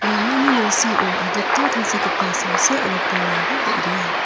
ramani nalsao adita tangsekgipa samsi aro bolrangba bang·bea.